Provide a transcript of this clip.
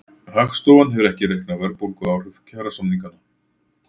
Hagstofan hefur ekki reiknað verðbólguáhrif kjarasamninganna